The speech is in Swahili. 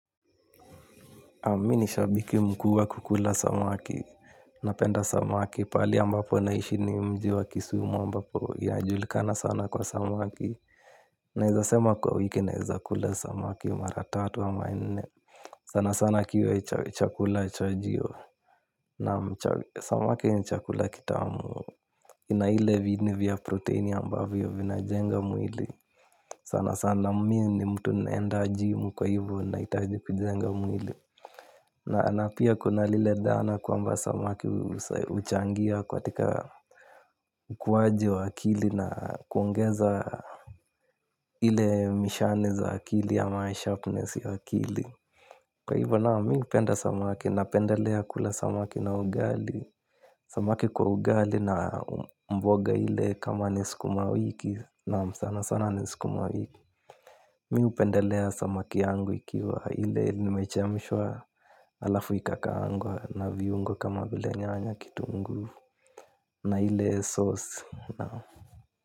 Mimi ni shabiki mkubwa kukula samaki, napenda samaki, pahali ambapo naishi ni mji wa kisumu ambapo inajulikana sana kwa samaki. Naweza sema kwa wiki naweza kula samaki mara tatu ama nne. Sana sana kiwe chakula cha jioni samaki ni chakula kitamu ina ile viini vya protini ambavyo vinajenga mwili. Sana sana mimi ni mtu naenda jimu kwa hivyo nahitaji kujenga mwili. Na pia kuna lile dhana kwamba samaki huchangia katika ukuaji wa akili na kuongeza ile mishale za akili ama sharpness ya akili kwa hivyo naam mimi hupenda samaki napendelea kula samaki na ugali. Samaki kwa ugali na mboga ile kama ni sukuma wiki naam sana sana ni sukuma wiki. Mimi hupendelea samaki yangu ikiwa ile imechemshwa halafu ikakaangwa na viungo kama vile nyanya kitunguu na ile sauce naam.